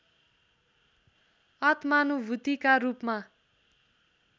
आत्मानुभूतिका रूपमा